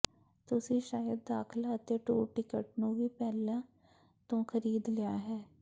ਤੁਸੀਂ ਸ਼ਾਇਦ ਦਾਖਲਾ ਅਤੇ ਟੂਰ ਟਿਕਟ ਨੂੰ ਵੀ ਪਹਿਲਾਂ ਤੋਂ ਖਰੀਦ ਲਿਆ ਹੈ